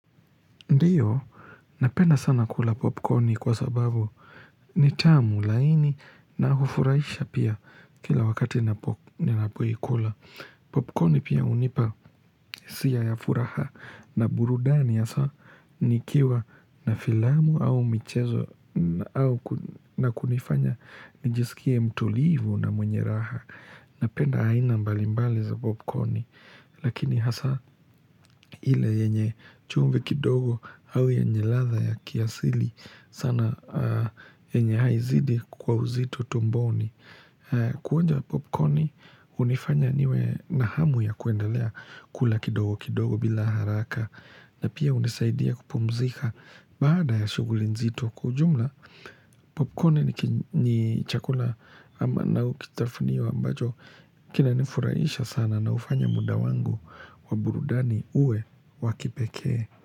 Ndiyo, napenda sana kula popcorni kwa sababu nitamu laini na hufurahisha pia kila wakati ninapoikula. Popcorni pia unipa hisia ya furaha na burudani ya saa nikiwa na filamu au michezo na kunifanya nijisikie mtulivu na mwenye raha. Napenda aina mbalimbali za popcorni Lakini hasa ile yenye chumvi kidogo au yenye ladha ya kiasili sana yenye haizidi kwa uzito tumboni Kuonja popcorni unifanya niwe na hamu ya kuendelea kula kidogo kidogo bila haraka na pia hunisaidia kupumzika baada ya shuguli nzito Kwa ujumla, popcorn ni chakula na ukitafunio ambacho kina nifuraisha sana na ufanya muda wangu wa burudani uwe wa kipekee.